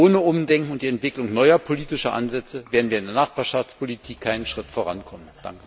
Ohne Umdenken und die Entwicklung neuer politischer Ansätze werden wir in der Nachbarschaftspolitik keinen Schritt vorankommen!